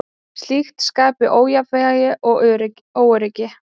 Slíkt skapi ójafnvægi og óöryggi.